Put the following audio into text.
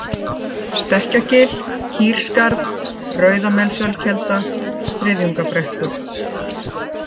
Stekkjagil, Kýrskarð, Rauðamelsölkelda, Þriðjungabrekkur